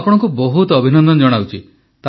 ମୁଁ ଆପଣଙ୍କୁ ବହୁତ ଅଭିନନ୍ଦନ ଜଣାଉଛି